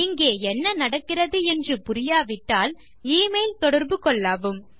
இங்கே என்ன நடக்கிறது என்று புரியாவிட்டால் e மெயில் தொடர்பு கொள்ளவும்